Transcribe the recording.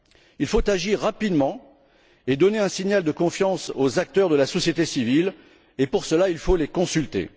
Il faut agir rapidement et donner un signal de confiance aux acteurs de la société civile et pour cela, il faut les consulter.